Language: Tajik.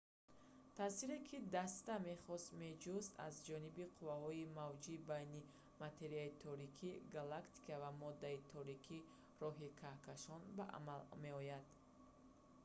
таъсире ки даста мехост меҷуст аз ҷониби қувваҳои мавҷи байни материяи торики галактика ва моддаи торики роҳи каҳкашон ба амал меоянд